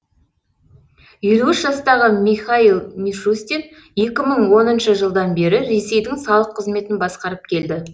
елу үш жастағы михаил мишустин екі мың оныншы жылдан бері ресейдің салық қызметін басқарып келді